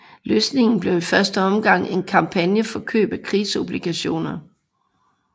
Løsningen blev i første omgang en kampagne for køb af krigsobligationer